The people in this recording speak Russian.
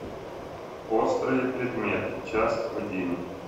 острые предметы часть один